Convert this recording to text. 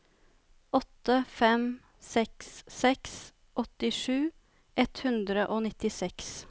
åtte fem seks seks åttisju ett hundre og nittiseks